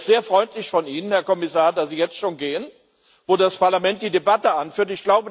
Das ist sehr freundlich von Ihnen, Herr Kommissar, dass Sie jetzt schon gehen, wo das Parlament die Debatte anführt!